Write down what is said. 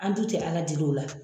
An dun ti Ala deli o la